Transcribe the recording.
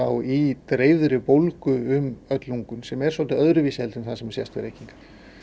í dreifðri bólgu um öll lungun sem er svolítið öðruvísi en það sem sést við reykingar